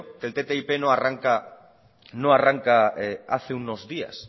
que el ttip no arranca hace unos días